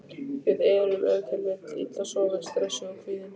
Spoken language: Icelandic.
Við erum ef til vill illa sofin, stressuð og kvíðin.